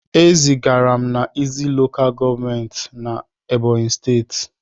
E zigara m na Izzi LGA na Ebonyi steeti.